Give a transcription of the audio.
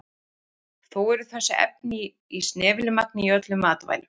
Þó eru þessi efni í snefilmagni í öllum matvælum.